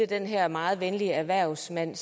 den her meget venlige erhvervsdrivende